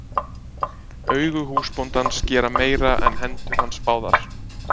Augu húsbóndans gera meira en hendur hans báðar.